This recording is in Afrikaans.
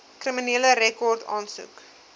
kriminele rekord aansoek